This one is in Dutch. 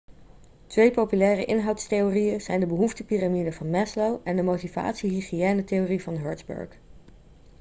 twee populaire inhoudstheorieën zijn de behoeftepiramide van maslow en de motivatie-hygiëne-theorie van hertzberg